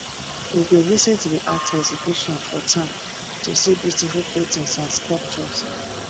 we go visit the art exhibition for town to see beautiful paintings and sculptures